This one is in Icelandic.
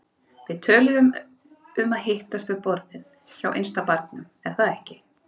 Við töluðum um að hittast við borðin hjá innsta barnum, er það ekki?